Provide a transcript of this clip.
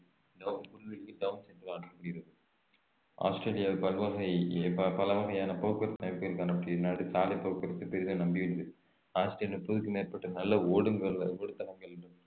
புல்வெளி டவுன்ஸ் என்று அழைக்கப்படுகிறது ஆஸ்திரேலியா பல்வகை ப~ பல வகையான போக்குவரத்து சாலை போக்குவரத்து பெரிதும் நம்பியுள்ளது ஆஸ்திரேலியா முப்பதுக்கும் மேற்பட்ட நல்ல ஓடுங்கள்ஓடுதளங்கள்